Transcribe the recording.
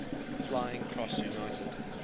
flying cross united